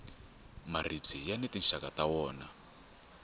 maribye yani tinxaka ta wona